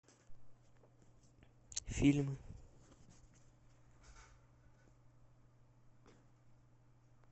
фильмы